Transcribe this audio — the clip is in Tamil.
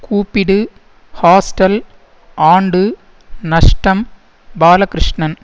கூப்பிடு ஹாஸ்டல் ஆண்டு நஷ்டம் பாலகிருஷ்ணன்